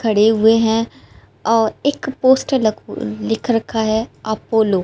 खड़े हुए है और एक पोस्टर लग लिख रखा है अपोलो ।